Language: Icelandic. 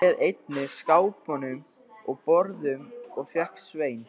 Ég réð einnig skápum og borðum og fékk Svein